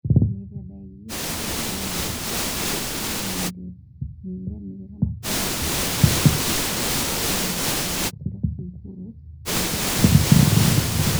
Mĩthemba ya irio iria irĩagwo iria cĩĩna mĩrĩre mĩega makĩria nĩcũngagĩrĩra thumu na gĩkĩro kia igũrũ na indo cia gwaka mũmera